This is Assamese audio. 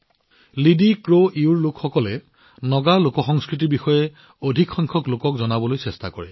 লিডিক্ৰইউৰ লোকসকলে অধিক সংখ্যক লোকক নাগা লোকসংস্কৃতিৰ বিষয়ে জনাবলৈ চেষ্টা কৰে